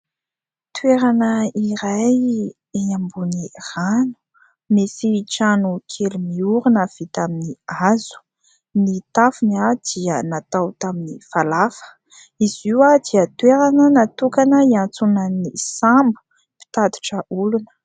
Toerana iray eny ambony rano misy trano kely miorina vita amin'ny hazo ny tafony dia natao tamin'ny falafa. Izy io dia toerana natokana hiantsonan'ny sambo mpitodra olona.